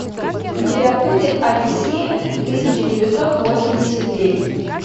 у тебя будет одиссея тысяча девятьсот восемьдесят девять